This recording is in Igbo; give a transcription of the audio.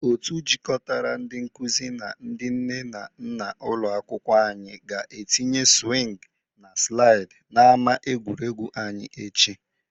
Otu jịkọtara ndị nkụzi na ndị nne na nna n'ụlọ akwụkwọ anyị ga-etinye swing na slịd n'ama egwuregwu anyị echi.